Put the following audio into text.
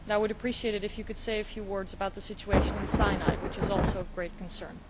I would appreciate it, too, if you could say a few words about the situation in Sinai, which is also of great concern.